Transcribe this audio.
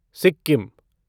Sikkim